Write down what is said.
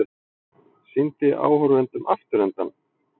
Sýndi áhorfendum afturendann